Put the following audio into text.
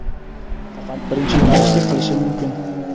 faqat birinchi yo‘nalishga qilishi mumkin.